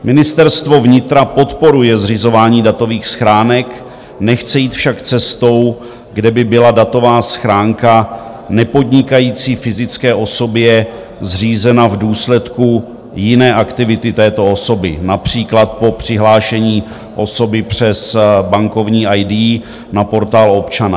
Ministerstvo vnitra podporuje zřizování datových schránek, nechce jít však cestou, kde by byla datová schránka nepodnikající fyzické osobě zřízena v důsledku jiné aktivity této osoby, například po přihlášení osoby přes bankovní ID na Portál občana.